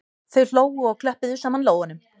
Þau hlógu og klöppuðu saman lófunum